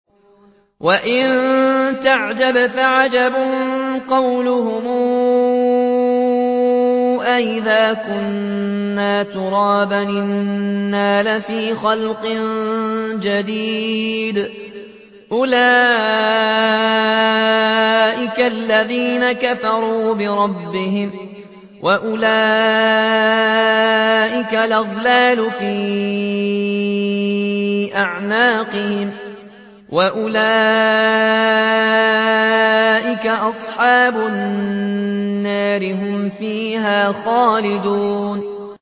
۞ وَإِن تَعْجَبْ فَعَجَبٌ قَوْلُهُمْ أَإِذَا كُنَّا تُرَابًا أَإِنَّا لَفِي خَلْقٍ جَدِيدٍ ۗ أُولَٰئِكَ الَّذِينَ كَفَرُوا بِرَبِّهِمْ ۖ وَأُولَٰئِكَ الْأَغْلَالُ فِي أَعْنَاقِهِمْ ۖ وَأُولَٰئِكَ أَصْحَابُ النَّارِ ۖ هُمْ فِيهَا خَالِدُونَ